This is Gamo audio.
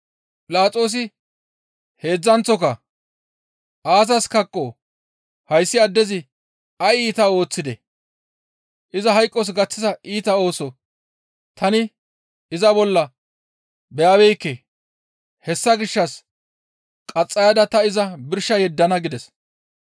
Philaxoosi heedzdzanththoka, «Aazas kaqqoo? Hayssi addezi ay iita ooththidee? Iza hayqos gaththiza iita ooso tani iza bolla beyabeekke; hessa gishshas qaxxayada ta iza birsha yeddana» gides.